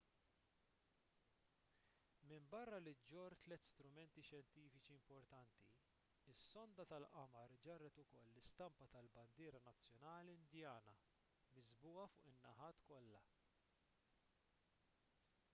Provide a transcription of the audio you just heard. minbarra li ġġorr tliet strumenti xjentifiċi importanti is-sonda tal-qamar ġarret ukoll l-istampa tal-bandiera nazzjonali indjana miżbugħa fuq in-naħat kollha